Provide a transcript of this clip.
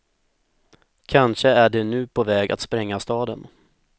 Kanske är de nu på väg att spränga staden.